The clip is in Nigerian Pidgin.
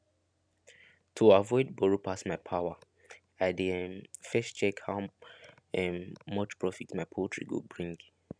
to avoid borrow pass my power i dey um first check how um much profit my poultry go bring